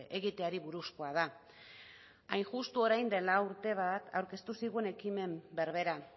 egiteari buruzkoa da hain justu orain dela urte bat aurkeztu zigun ekimen berbera